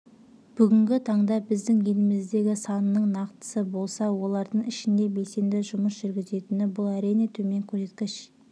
бүгінгі таңда біздің еліміздегі санының нақтысы болса олардың ішінде белсенді жұмыс жүргізетіні бұл әрине төмен көрсеткіш